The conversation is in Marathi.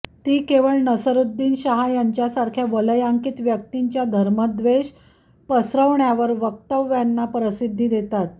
ती केवळ नसीरुद्दीन शहा यांच्यासारख्या वलयांकीत व्यक्तींच्या धर्मद्वेष पसरवणार्या वक्तव्यांना प्रसिद्धी देतात